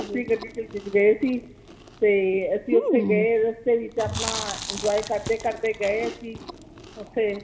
ਗੱਡੀ ਦੇ ਵਿਚ ਗਏ ਸੀ ਤੇ ਅਸੀਂ ਓਥੇ ਗਏ ਰਸਤੇ ਵਿਚ ਆਪਣਾ enjoy ਕਰਦੇ ਕਰਦੇ ਗਏ ਅਸੀਂ ਓਥੇ